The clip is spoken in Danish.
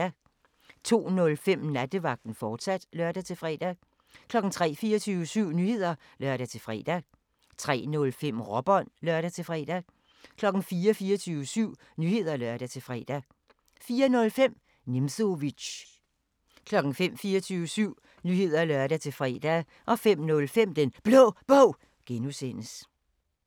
02:05: Nattevagten, fortsat (lør-fre) 03:00: 24syv Nyheder (lør-fre) 03:05: Råbånd (lør-fre) 04:00: 24syv Nyheder (lør-fre) 04:05: Nimzowitsch 05:00: 24syv Nyheder (lør-fre) 05:05: Den Blå Bog (G)